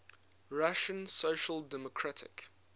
russian social democratic